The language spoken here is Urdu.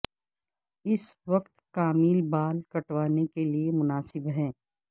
اس وقت کامل بال کٹوانے کے لئے مناسب ہے